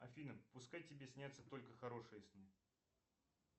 афина пускай тебе снятся только хорошие сны